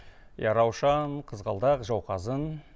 иә раушан қызғалдақ жауқазын